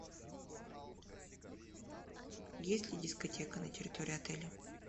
есть ли дискотека на территории отеля